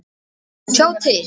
Já, sjá til!